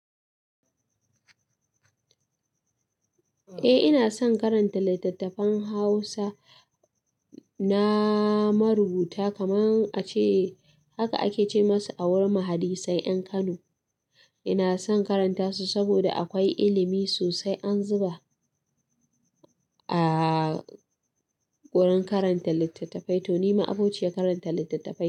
Eh ina son karanta littattafan Hausa na marubuta kaman ace, haka ake ce masa a wurin mahadissai 'yan Kano. Ina son karanta su saboda akwai ilimi sosai an zuba a wurin karanta littattafai. To ni ma abociyar karanta littattafai.